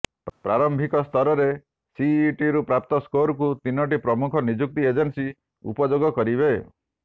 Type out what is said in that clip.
ପ୍ରାରମ୍ଭିକସ୍ତରରେ ସିଇଟିରୁ ପ୍ରାପ୍ତ ସ୍କୋରକୁ ତିନୋଟି ପ୍ରମୁଖ ନିଯୁକ୍ତି ଏଜେନ୍ସି ଉପଯୋଗ କରିବେ